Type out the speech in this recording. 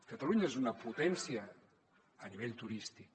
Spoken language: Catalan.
catalunya és una potència a nivell turístic